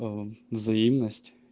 аа взаимность